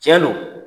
Tiɲɛ don